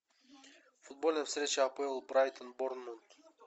футбольная встреча апл брайтон борнмут